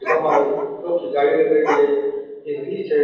जका में बा एक लोह की जाली लगायोडी है एक रीछ है।